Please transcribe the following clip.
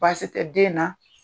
Baasi tɛ den na.